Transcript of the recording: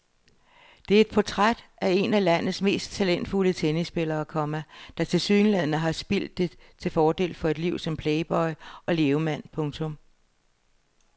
Det er et portræt af en af landets mest talentfulde tennisspillere, komma der tilsyneladende har spildt det til fordel for et liv som playboy og levemand. punktum